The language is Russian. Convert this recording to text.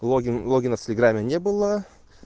логин логина в телеграмме не было